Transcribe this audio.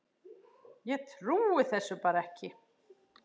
Ég trúði þessu bara ekki.